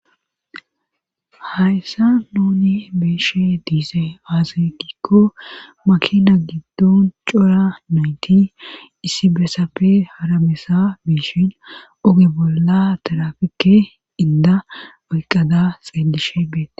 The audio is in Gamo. hayssa nooni beeshe diise azekikko makina giddon cora noyti issi besape haramesa biishin oge bolla tarafike inda baqqada xeelishe beete